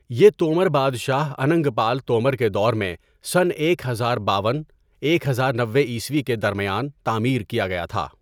یہ تومر بادشاہ اننگ پال تومر کے دور میں سن ایک ہزار باون ، ایک ہزار نوے عیسوی کے درمیان تعمیر کیا گیا تھا۔